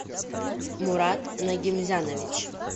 мурат нагимзянович